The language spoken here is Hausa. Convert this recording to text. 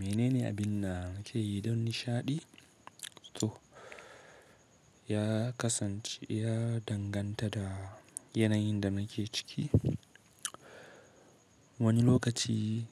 Mene ne abin da nake yi don nishaɗi? To ya kasance ya danganta da yanayin da nake ciki. Wani lokaci